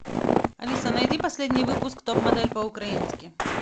алиса найди последний выпуск топ модель по украински